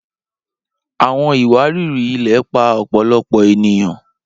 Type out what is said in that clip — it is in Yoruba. Awọn iwariri-ilẹ pa ọpọlọpọ eniyan